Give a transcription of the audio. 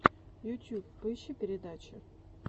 ютюб поищи передачи